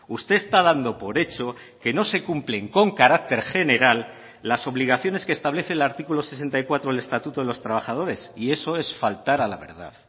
usted está dando por hecho que no se cumplen con carácter general las obligaciones que establece el artículo sesenta y cuatro del estatuto de los trabajadores y eso es faltar a la verdad